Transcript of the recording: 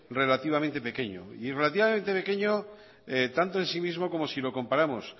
relativamente pequeño y relativamente pequeño tanto en sí mismo como si lo comparamos